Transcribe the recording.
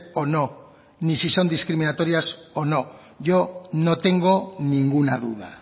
o no ni si son discriminatorias o no yo no tengo ninguna duda